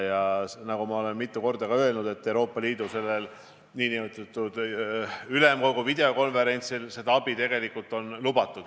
Nagu ma olen mitu korda öelnud, on Euroopa Ülemkogu videokonverentsil seda abi tegelikult lubatud.